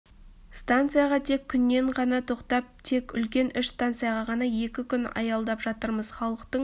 станцияға тек күннен ғана тоқтап тек үлкен үш станцияға ғана екі күн аялдап жатырмыз халықтың